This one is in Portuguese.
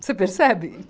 Você percebe?